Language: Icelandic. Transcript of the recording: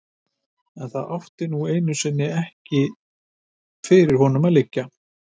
En það átti nú einu sinni ekki fyrir honum að liggja.